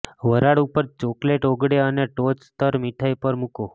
વરાળ ઉપર ચોકલેટ ઓગળે અને ટોચ સ્તર મીઠાઈ પર મૂકો